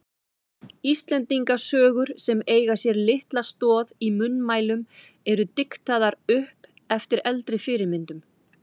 Íslendingasögur sem eiga sér litla stoð í munnmælum eru diktaðar upp eftir eldri fyrirmyndum.